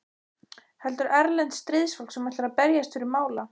Heldur erlent stríðsfólk sem ætlar að berjast fyrir mála.